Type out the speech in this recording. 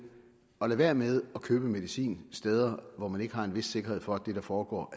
at lade være med at købe medicin steder hvor man ikke har en vis sikkerhed for at det der foregår